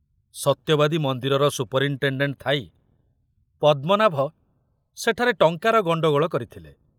ସତ୍ୟବାଦୀ ମନ୍ଦିରର ସୁପରିନଟେଣ୍ଡେଣ୍ଟ ଥାଇ ପଦ୍ମନାଭ ସେଠାରେ ଟଙ୍କାର ଗଣ୍ଡଗୋଳ କରିଥିଲେ।